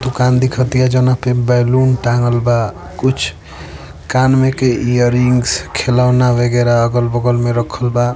दुकान दिख तिया जौना पर पर बैलून टाँगल बा कुछ कान में के इयररिंग्स खिलौना वगैरह अगल-बगल में रखल बा।